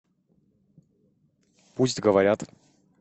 пусть говорят